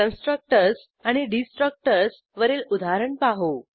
constructors आणि destructors वरील उदाहरण पाहू